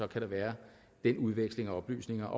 kan være den udveksling af oplysninger